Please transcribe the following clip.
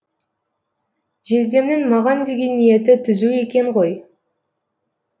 жездемнің маған деген ниеті түзу екен ғой